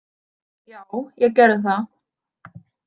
Já, ég gerði það.